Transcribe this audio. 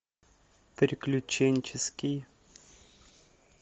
приключенческий